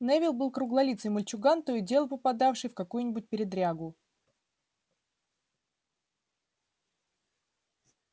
невилл был круглолицый мальчуган то и дело попадавший в какую-нибудь передрягу